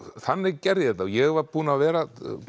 þannig gerði ég þetta ég var búinn að vera að